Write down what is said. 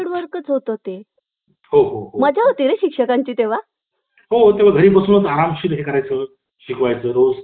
पूर्वज कान्हापूर जवळील दगडगा गावचे निवासी होते चंद्रशेखर यांचा आपल्या मुलाने मोठा संस्कृत पंडित व्हावा आणि आईची इच्छा होती पण